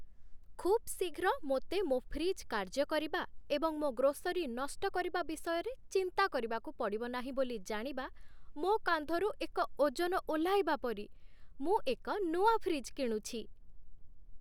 ଖୁବ୍ ଶୀଘ୍ର ମୋତେ ମୋ ଫ୍ରିଜ୍ କାର୍ଯ୍ୟ କରିବା ଏବଂ ମୋ ଗ୍ରୋସରୀ ନଷ୍ଟ କରିବା ବିଷୟରେ ଚିନ୍ତା କରିବାକୁ ପଡ଼ିବ ନାହିଁ ବୋଲି ଜାଣିବା ମୋ କାନ୍ଧରୁ ଏକ ଓଜନ ଓହ୍ଲାଇବା ପରି। ମୁଁ ଏକ ନୂଆ ଫ୍ରିଜ୍ କିଣୁଛି।